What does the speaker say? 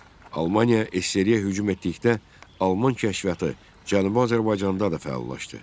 Almaniya SSRİ-yə hücum etdikdə, Alman kəşfiyyatı Cənubi Azərbaycanda da fəallaşdı.